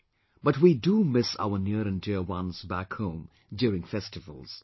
Bu we do miss our near and dear ones back home during festivals